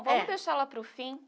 É. Vamos deixar lá para o fim?